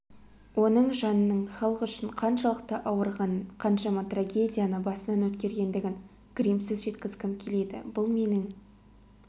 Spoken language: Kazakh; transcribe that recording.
оның жанының халық үшін қаншалықты ауырғанын қаншама трагедияны басынан өткергендігін гримсіз жеткізгім келеді бұл менің